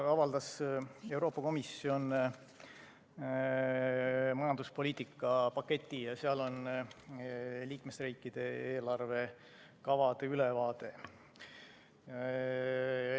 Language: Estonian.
Täna avaldas Euroopa Komisjon majanduspoliitika paketi ja seal on liikmesriikide eelarvekavade ülevaade.